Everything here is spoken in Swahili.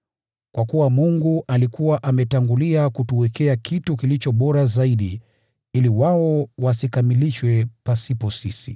Kwa kuwa Mungu alikuwa ametangulia kutuwekea kitu kilicho bora zaidi ili wao wasikamilishwe pasipo sisi.